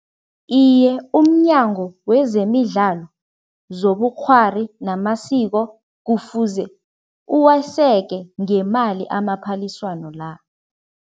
Iye, umNyango wezemiDlalo zobuKghwari namaSiko kufuze uwaseke ngemali amaphaliswano la.